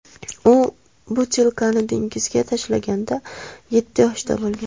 U butilkani dengizga tashlaganda yetti yoshda bo‘lgan.